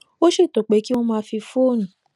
ó ṣètò pé kí wón máa fi fóònù